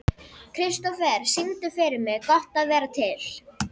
Kristofer, syngdu fyrir mig „Gott að vera til“.